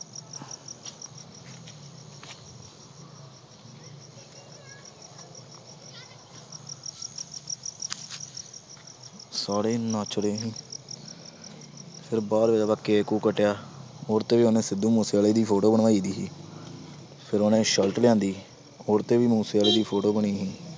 ਸਾਰੇ ਨੱਚ ਰਹੇ ਸੀ ਫਿਰ ਬਾਅਦ ਵਿੱਚ ਆਪਾਂ ਕੇਕ ਕੂਕ ਕੱਟਿਆ ਉਹਦੇ ਤੇ ਵੀ ਉਹਨੇ ਸਿੱਧੂ ਮੂਸੇਵਾਲੇ ਦੀ photo ਬਣਾਈਦੀ ਸੀ ਫਿਰ ਉਹਨੇ shirt ਲਿਆਂਦੀ ਉਹਦੇ ਤੇ ਵੀ ਮੂਸੇਵਾਲੇ ਦੀ photo ਬਣੀ ਸੀ।